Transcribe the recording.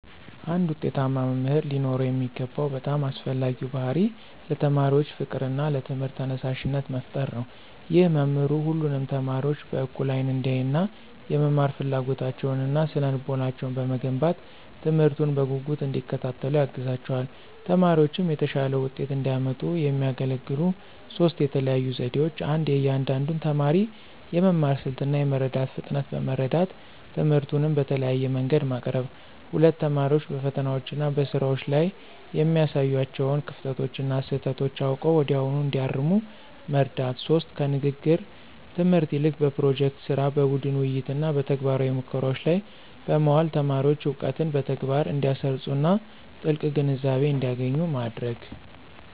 አንድ ውጤታማ መምህር ሊኖረው የሚገባው በጣም አስፈላጊው ባሕርይ ለተማሪዎች ፍቅርና ለትምህርቱ ተነሳሽነት መፍጠር ነው። ይህ መምህሩ ሁሉንም ተማሪዎች በእኩል አይን እንዲያይና፣ የመማር ፍላጎታቸውንና ስነ-ልቦናቸውን በመገንባት፣ ትምህርቱን በጉጉት እንዲከታተሉ ያግዛቸዋል። ተማሪዎችም የተሻለ ውጤት እንዲያመጡ የሚያገለግሉ ሦስት የተለዩ ዘዴዎች 1. የእያንዳንዱን ተማሪ የመማር ስልት እና የመረዳት ፍጥነት በመረዳት፣ ትምህርቱን በተለያየ መንገድ ማቅረብ። 2. ተማሪዎች በፈተናዎችና በስራዎች ላይ የሚያሳዩዋቸውን ክፍተቶችና ስህተቶች አውቀው ወዲያውኑ እንዲያርሙ መርዳት። 3. ከንግግር ትምህርት ይልቅ በፕሮጀክት ሥራ፣ በቡድን ውይይትና በተግባራዊ ሙከራዎች ላይ በማዋል ተማሪዎች እውቀትን በተግባር እንዲያሰርፁና ጥልቅ ግንዛቤ እንዲያገኙ ማድረግ።